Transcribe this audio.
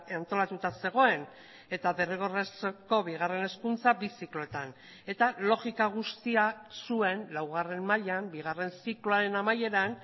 antolatuta zegoen eta derrigorrezko bigarren hezkuntza bi zikloetan eta logika guztia zuen laugarren mailan bigarren zikloaren amaieran